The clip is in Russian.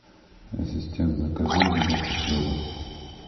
ассистент закажи мне булку хлеба